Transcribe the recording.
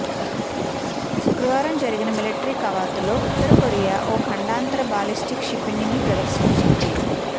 శుక్రవారం జరిగిన మిలిటరీ కవాతులో ఉత్తరకొరియా ఓ ఖండాతర బాలిస్టిక్ క్షిపణిని ప్రదర్శించింది